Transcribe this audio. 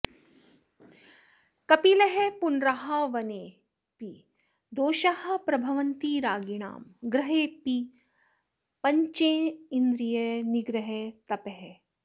कपिलः पुनराह वने पि दोषाः प्रभवन्ति रागिणां गृहे पि पञ्चेन्द्रियनिग्रहस्तपः